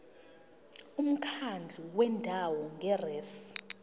umkhandlu wendawo ngerss